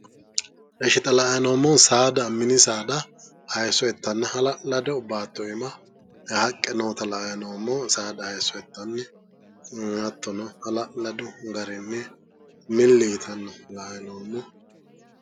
Ishshi xa la''ayi noommohu saada min isaada hayisso ittanna hala'lado baatto iima haqqe noota la''ayi noommo saada hayisso ittanna hattono hala'ladu garinni milli yitanna la''ayi noommo